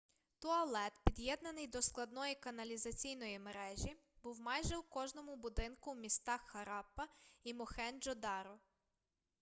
туалет під'єднаний до складної каналізаційної мережі був майже у кожному будинку у містах хараппа і мохенджо-даро